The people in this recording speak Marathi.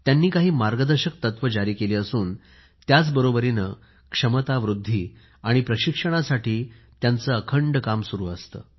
त्यांनी मार्गदर्शक तत्वे जारी केली असून त्याच बरोबरीने क्षमता वृद्धी आणि प्रशिक्षणासाठी त्यांचे अखंड काम सुरु असते